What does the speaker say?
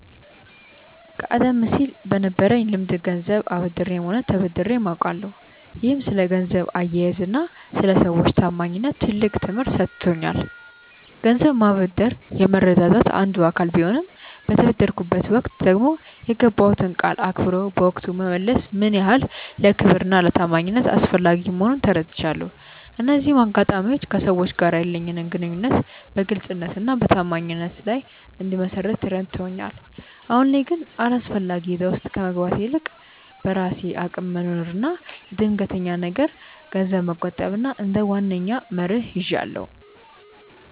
ቀደም ሲል በነበረኝ ልምድ ገንዘብ አበድሬም ሆነ ተበድሬ አውቃለሁ፤ ይህም ስለ ገንዘብ አያያዝና ስለ ሰዎች ታማኝነት ትልቅ ትምህርት ሰጥቶኛል። ገንዘብ ማበደር የመረዳዳት አንዱ አካል ቢሆንም፣ በተበደርኩበት ወቅት ደግሞ የገባሁትን ቃል አክብሮ በወቅቱ መመለስ ምን ያህል ለክብርና ለታማኝነት አስፈላጊ መሆኑን ተረድቻለሁ። እነዚህ አጋጣሚዎች ከሰዎች ጋር ያለኝን ግንኙነት በግልጽነትና በእምነት ላይ እንድመሰርት ረድተውኛል። አሁን ላይ ግን አላስፈላጊ እዳ ውስጥ ከመግባት ይልቅ፣ በራሴ አቅም መኖርንና ለድንገተኛ ነገር ገንዘብ መቆጠብን እንደ ዋነኛ መርህ ይዣለሁ።